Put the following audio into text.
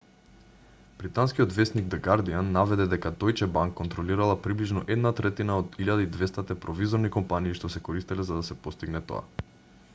британскиот весник д'гардијан наведе дека дојче банк контролирала приближно една третина од 1200-те провизорни компании што се користеле за да се постигне тоа